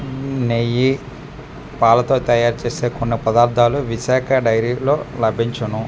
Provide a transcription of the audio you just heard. ఊ నెయ్యి పాలతో తయారు చేసే కొన్ని పదార్థాలు విశాక డైరీ లో లభించును .